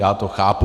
Já to chápu.